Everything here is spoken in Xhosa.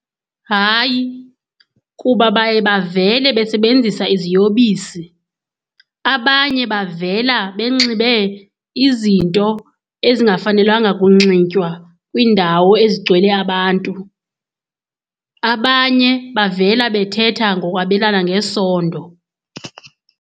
Hayi, kuba baye bavele besebenzisa iziyobisi. Abanye bavela benxibe izinto ezingafanelanga kunxitywa kwiindawo ezigcwele abantu. Abanye bavela bethetha ngokwabelana ngesondo.